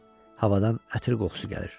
Havadan ətir qoxusu gəlir.